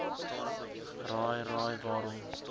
raai raai waarom